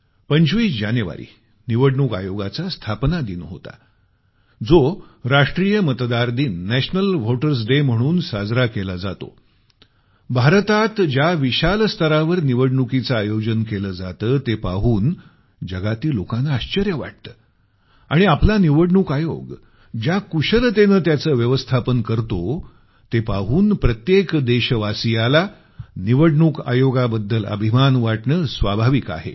25 जानेवारी निवडणूक आयोगाचा स्थापना दिन होता जो राष्ट्रीय मतदार दिन नॅशनल व्होटर्स डे म्हणून साजरा केला जातो भारतात ज्या विशाल स्तरावर निवडणुकीचं आयोजन केलं जातं ते पाहून जगातील लोकांना आश्चर्य वाटतं आणि आपला निवडणूक आयोग ज्या कुशलतेनं त्यांचं व्यवस्थापन करतो ते पाहून प्रत्येक देशवासियाला निवडणूक आयोगाबद्दल अभिमान वाटणं स्वाभाविक आहे